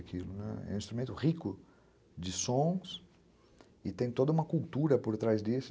É um instrumento rico de sons e tem toda uma cultura por trás disso.